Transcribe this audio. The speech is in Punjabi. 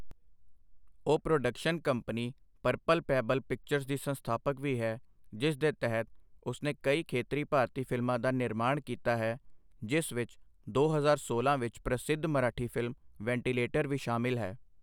ਉਹ production company purple pebble pictures ਦੀ ਸੰਸਥਾਪਕ ਵੀ ਹੈ, ਜਿਸ ਦੇ ਤਹਿਤ ਉਸਨੇ ਕਈ ਖੇਤਰੀ ਭਾਰਤੀ ਫ਼ਿਲਮਾਂ ਦਾ ਨਿਰਮਾਣ ਕੀਤਾ ਹੈ, ਜਿਸ ਵਿੱਚ ਦੋ ਹਜ਼ਾਰ ਸੋਲਾਂ ਵਿੱਚ ਪ੍ਰਸਿੱਧ ਮਰਾਠੀ ਫ਼ਿਲਮ ਵੈਂਟੀਲੇਟਰ ਵੀ ਸ਼ਾਮਲ ਹੈ।